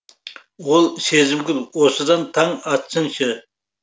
ол сезімгүл осыдан таң атсыншы